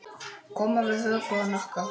Koma við höku og hnakka.